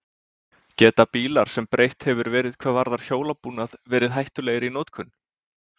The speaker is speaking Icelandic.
Geta bílar sem breytt hefur verið hvað varðar hjólabúnað, verið hættulegir í notkun?